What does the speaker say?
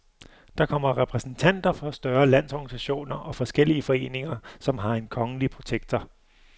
Der kommer repræsentanter for større landsorganisationer og forskellige foreninger, som har en kongelige protektor.